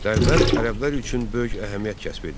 Dərbənd ərəblər üçün böyük əhəmiyyət kəsb edirdi.